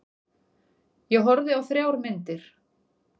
Ég horfði á þrjár myndir.